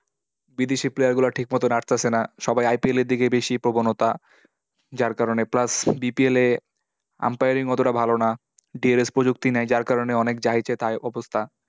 বিদেশের player গুলো ঠিক মতোন আসতাছে না। সবাই IPL দিকেই বেশি প্রবণতা। যার কারণে, plus BPL এ umpiring অতটা ভাল না। dlx প্রযুক্তি নেই, যার কারণে অনেক যা ইচ্ছে তাই অবস্থা।